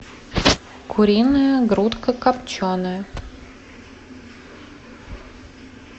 куриная грудка копченая